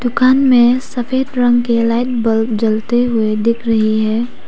दुकान में सफेद रंग के लाइट बल्ब जलते हुए दिख रहे हैं।